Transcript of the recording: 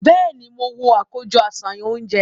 Bẹẹni, mo wo akojọ aṣayan ounjẹ